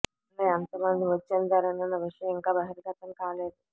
వారిలో ఎంత మంది మృతి చెందారోనన్న విషయం ఇంకా బహిర్గతం కాలేదు